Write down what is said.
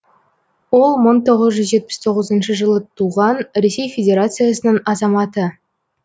ол мың тоғыз жүз жетпіс тоғызыншы жылы туған ресей федерациясының азаматы